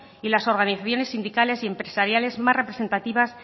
y las organizaciones sindicales y empresariales más representativas